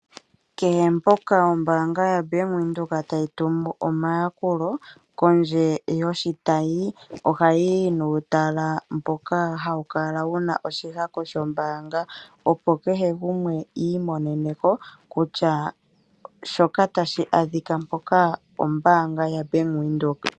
Kehe mpoka ombaanga yoBank Windhoek tayi tumu omayakulo, kondje yoshitayi, ohayiyi nuutala mboka hawu kala wuna oshihako shombaanga, opo kehe gumwe iimonene ko, kutya shoka tashi adhika mpoka ombaanga yaBank Windhoek.